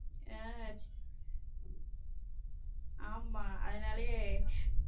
ஹம் ஆமா அதுனாலே.